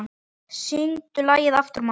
Syngdu lagið aftur, mamma